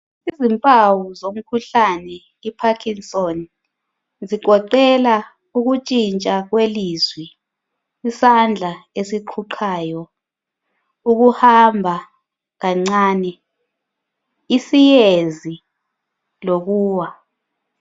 Izimpawu zomkhuhlane I parkinson's ezigoqela ukutshintsha kwelizwi, isandla esiqhuqhayo ukuhamba kancane, isiyezi lokuwa.